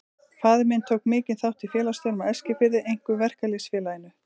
Faðir minn tók mikinn þátt í félagsstörfum á Eskifirði, einkum í Verkalýðs- félaginu.